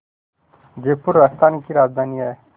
जयपुर राजस्थान की राजधानी है